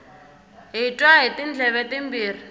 hi twa hi tindleve timbirhi